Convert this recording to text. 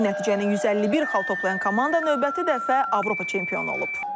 Bu nəticəni 151 xal toplayan komanda növbəti dəfə Avropa çempionu olub.